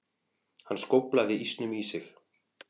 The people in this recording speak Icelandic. Hann skóflaði ísnum í sig.